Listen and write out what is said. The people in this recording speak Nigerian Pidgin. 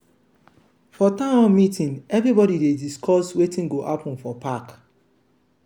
community meeting dey help people feel like sey dem belong.